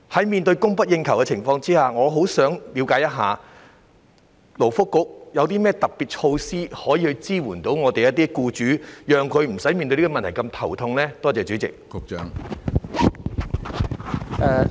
面對供不應求的情況，我十分希望向勞工及福利局了解，局方有何特別措施支援僱主，令他們面對這個問題時無須那麼頭痛呢？